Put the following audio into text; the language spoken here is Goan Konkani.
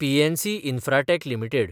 PNC Infratech limited